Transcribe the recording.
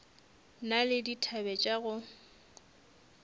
na le dithabe tša go